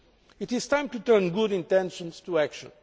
It is time to turn good intentions into action.